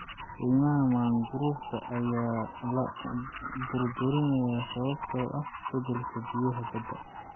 Kaymaha mangroovka ayaa la burburiyay sababtoo ah isbeddelka biyaha badda.